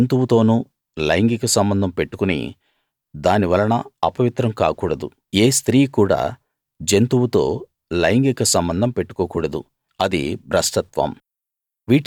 ఏ జంతువుతోనూ లైంగిక సంబంధం పెట్టుకుని దాని వలన అపవిత్రం కాకూడదు ఏ స్త్రీ కూడా జంతువుతో లైంగిక సంబంధం పెట్టుకోకూడదు అది భ్రష్టత్వం